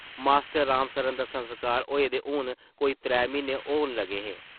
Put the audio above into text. Master Ram Saran दा संस्कार होए दे हून कोई त्रै म्हीन्ने होन लगे हे ।